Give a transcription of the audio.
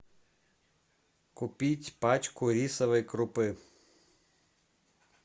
купить пачку рисовой крупы